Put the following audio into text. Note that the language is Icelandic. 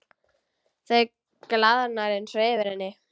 Þá glaðnar aðeins yfir henni.